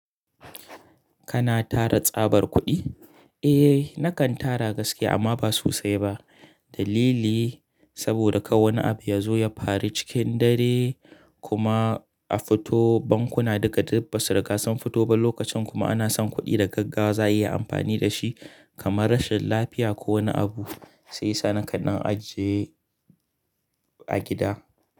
Kana tara tsabar kuɗi? Eh, nakan tara gaskiya amma ba sosai ba. Dalili, saboda kar wani abu ya zo ya fari cikin dare kuma a fito bankuna duka duk ba su ri ga sun fito ba lokacin kuma ana son kuɗi da gaggawa za a iya amfani da shi kamar rashin lafiya ko wani abu, sai sa nakan an ajiye a gida.